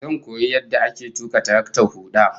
Zan koyi yadda ake tuka taraktar huda